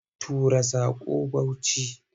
Tura saƙon Bauchi!